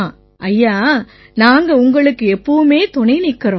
ஐயா நாங்க உங்களுக்குத் துணை நிக்கறோம்